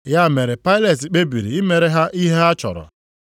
Ya mere Pailet kpebiri imere ha ihe ha chọrọ.